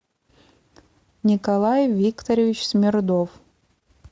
николай викторович смирнов